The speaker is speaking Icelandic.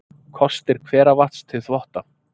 Kostir hveravatns til þvotta